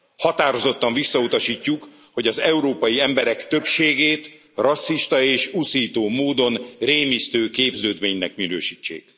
Határozottan visszautasítjuk, hogy az európai emberek többségét rasszista és uszító módon rémisztő képződménynek minősítsék.